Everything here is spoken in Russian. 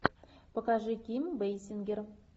покажи ким бейсингер